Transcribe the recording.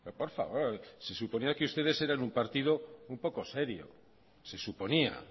por favor se suponía que ustedes eran un partido un poco serio se suponía